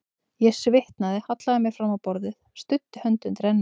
Ég svitnaði, hallaði mér fram á borðið, studdi hönd undir enni.